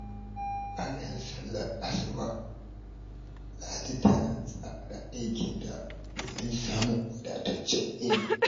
Bayan sallar asuba, Ladi tana tsara aikinta domin samun wadataccen yini.